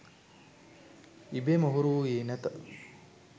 ඉබේම හුරු වූයේ නැත.